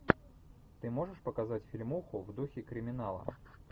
ты можешь показать фильмуху в духе криминала